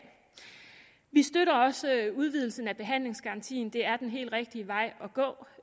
vi støtter også udvidelsen af behandlingsgarantien det er den helt rigtige vej